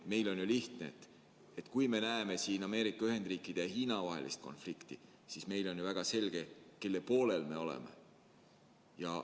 Meil on ju lihtne: kui me näeme Ameerika Ühendriikide ja Hiina vahelist konflikti, siis meile on väga selge, kelle poolel me oleme.